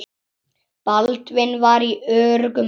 Baldvin var í öruggum höndum.